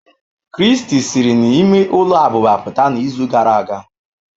Christy siri n'ime ụlọ abụba pụta n'izu gara aga.